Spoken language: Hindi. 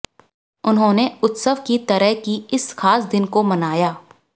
उन्होंने उत्सव की तरह की इस खास दिन को मनाया